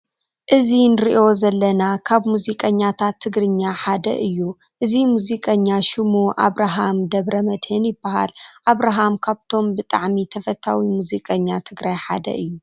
እዚ እንርእዩ ዘለና ካብ ሙዚቀኛታት ትግርኛ ሓደ እዩ። እዚ ሙዚቀኛ ሽሙ ኣብርሃም ደብረመድህን ይባሃል። ኣብርሃም ካብቶም ብጣዕሚ ተፈታዊ ሙዚቀኛ ትግራይ ሓደ እዩ።